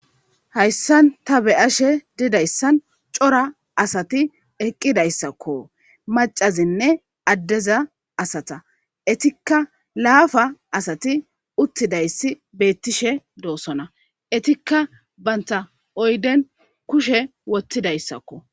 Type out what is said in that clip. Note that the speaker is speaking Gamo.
hayssan ta beyashe didayssan cora asati eqqidayssakko macazinne addeza asata etikka laafa asati uttidayssi beettishe doosona etikka banta oyden kushe wottidayssakko